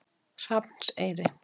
Hrafnseyri